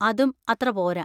അതും അത്ര പോരാ.